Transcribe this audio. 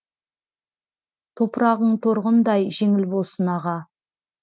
топырағың торғындай жеңіл болсын аға